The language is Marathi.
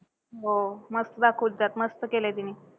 हो. मस्त दाखवत्यात मस्त केलंय तिने.